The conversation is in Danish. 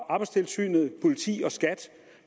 arbejdstilsynet politiet og skat